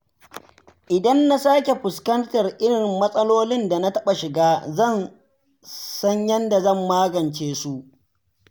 Idan na sake fuskantar irin matsalolin da na taɓa shiga, zan san yadda zan magance su.